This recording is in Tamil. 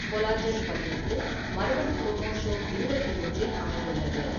கொலாஜென் பதினெட்டு மரபணு குரோமோசோம் இருபத்தி ஒன்றில் அமைந்துள்ளது.